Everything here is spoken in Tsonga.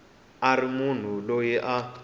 a ri munhu loyi a